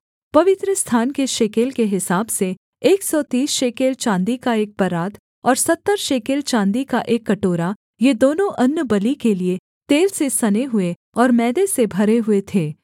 अर्थात् पवित्रस्थान के शेकेल के हिसाब से एक सौ तीस शेकेल चाँदी का एक परात और सत्तर शेकेल चाँदी का एक कटोरा ये दोनों अन्नबलि के लिये तेल से सने हुए और मैदे से भरे हुए थे